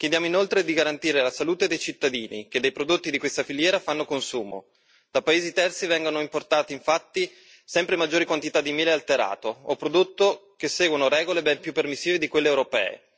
Chiediamo inoltre di garantire la salute dei cittadini che dei prodotti di questa filiera fanno consumo dai paesi terzi vengono importati infatti sempre maggiori quantità di miele alterato o prodotto seguendo regole ben più permissive di quelle europee.